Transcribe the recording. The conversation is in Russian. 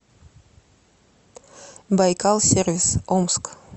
байкал сервис омск